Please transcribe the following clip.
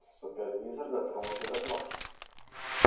супервизор дотронулся до кнопки